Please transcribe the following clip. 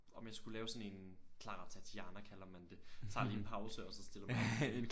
Om jeg skulle lave sådan en Clara Tatiana kalder man det tager lige en pause og så stiller man op igen